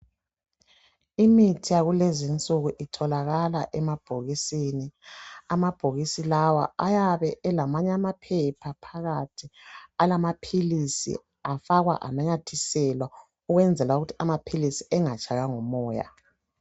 Imithi yakulezinsuku itholakala emabhokisini. Amabhokisi lawa ayabe elamanye amaphepha phakathi alamaphilisi afakwa ananyathiselwa kwenzela ukuthi amaphilisi engatshaywa ngumoya.